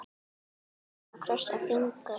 Við erum að krossa fingur.